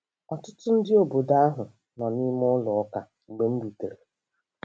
Ọtụtụ ndị obodo ahụ nọ nime ụlọ Ụka mgbe m rutere.